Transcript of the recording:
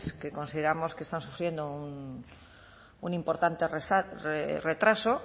que consideramos que están sufriendo un importante retraso